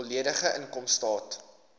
volledige inkomstestaat